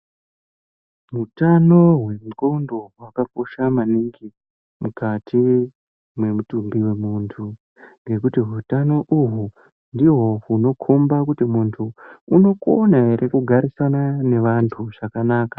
Utano hwengqondo hwakakosha maningi mukati mwemitumbi wemuntu, ngekuti utano uhwu ndihwo unokhomba kuti muntu unokona ere kugarisana nevantu zvakanaka.